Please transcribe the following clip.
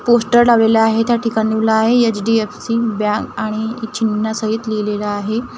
Poster लावलेला आहे त्या ठिकाणी लिवला आहे एच_डी_एफ_सी बँक आणि चिन्हासहित लिहलेलं आहे.